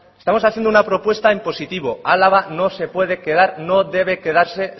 estamos haciendo una propuesta en positivo álava no se puede quedar no debe quedarse